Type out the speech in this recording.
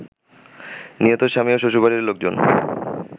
নিহতের স্বামী ও শ্বশুরবাড়ির লোকজন